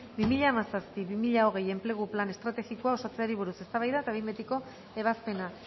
bi mila hamazazpi bi mila hogei enplegu plan estrategikoa osatzeari buruz eztabaida eta behin betiko ebazpena